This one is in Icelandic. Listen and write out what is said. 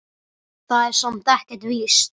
Það er samt ekkert víst.